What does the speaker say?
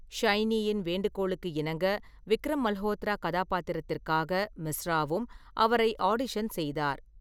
ஷைனியின் வேண்டுகோளுக்கு இணங்க, விக்ரம் மல்ஹோத்ரா கதாபாத்திரத்திற்காக மிஸ்ராவும் அவரை ஆடிஷன் செய்தார்.